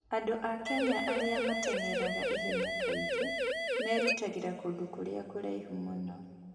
Andũ a Kenya arĩa mahanyũkaga ihenya kaingĩ merutagĩra kũndũ kũrĩa kũraihu mũno.